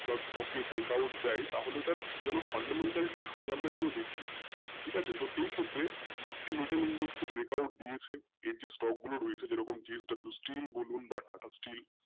বা stock এ break out দেয় তাহলে সাথে fundamental টাও যেন আমরা দেখি ঠিক আছে তো এইখেত্রে একটি middle index এ break out দিয়েছে এর যে w stock গুলো রয়েছে যেরকম steel বলুন বা Tata